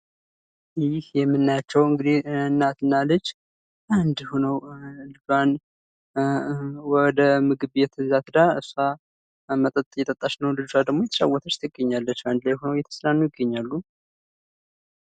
ይህ የምንያቸው እንግዲህ እናትና ልጅ አንድ ሆነው ወደ ምግብ ቤት ይዛት ሄዳ እሷ መጠጥ እየጠጣች ነው ልጅቷ ደግሞ እየተጫወተች ትገኛለች። በአንድ ላይ ሆነው እየተዝናኑ ይገኛሉ።